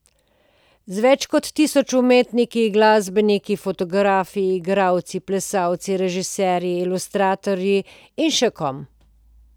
Z več kot tisoč umetniki, glasbeniki, fotografi, igralci, plesalci, režiserji, ilustratorji in še kom.